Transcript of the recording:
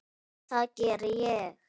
Og það geri ég.